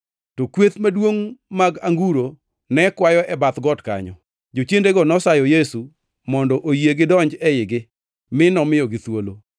To kweth maduongʼ mag anguro ne kwayo e bath got kanyo. Jochiendego nosayo Yesu mondo oyie gidonji eigi, mi nomiyogi thuolo.